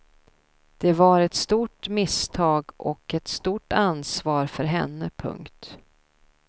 Det var ett stort misstag och ett stort ansvar för henne. punkt